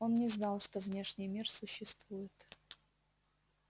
он не знал что внешний мир существует